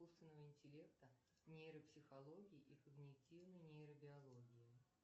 искусственного интеллекта нейропсихологии и когнитивной нейробиологии